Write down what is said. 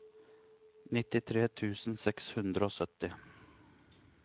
nittitre tusen seks hundre og sytti